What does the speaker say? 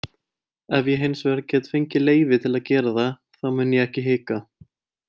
Ef ég hinsvegar get fengið leyfi til að gera það þá mun ég ekki hika.